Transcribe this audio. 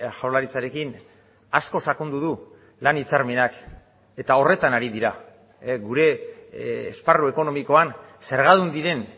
jaurlaritzarekin asko sakondu du lan hitzarmenak eta horretan ari dira gure esparru ekonomikoan zergadun diren